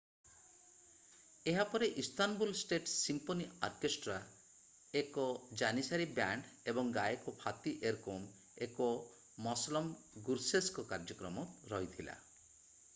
ଏହାପରେ Istanbul state symphony orchestra ଏକ janissary band ଏବଂ ଗାୟକ ଫାତି ଏରକୋକ୍ ଏବଂ ମସଲମ ଗୁର୍ସେସଙ୍କ କାର୍ଯ୍ୟକ୍ରମ ରହିଥିଲା